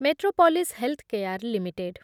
Metropolis Healthcare limited